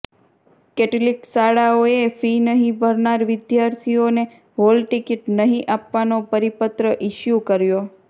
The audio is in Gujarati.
કેટલીક શાળાઓએ ફી નહીં ભરનાર વિદ્યાર્થીઓને હોલ ટિકિટ નહીં આપવાનો પરિપત્ર ઈસ્યુ કર્યો